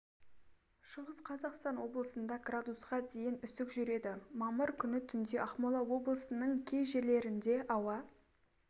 шығыс қазақстан облысында градусқа дейін үсік жүреді мамыр күні түнде ақмола облысының кей жерлерінде ауа